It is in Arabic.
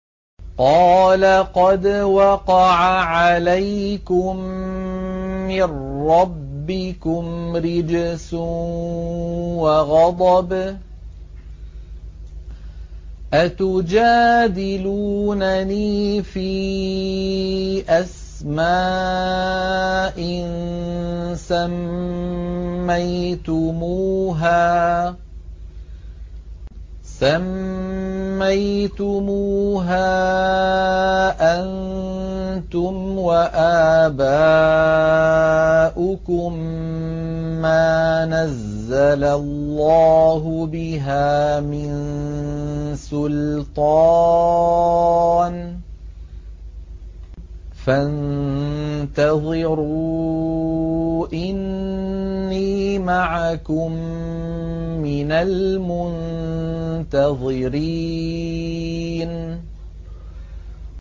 قَالَ قَدْ وَقَعَ عَلَيْكُم مِّن رَّبِّكُمْ رِجْسٌ وَغَضَبٌ ۖ أَتُجَادِلُونَنِي فِي أَسْمَاءٍ سَمَّيْتُمُوهَا أَنتُمْ وَآبَاؤُكُم مَّا نَزَّلَ اللَّهُ بِهَا مِن سُلْطَانٍ ۚ فَانتَظِرُوا إِنِّي مَعَكُم مِّنَ الْمُنتَظِرِينَ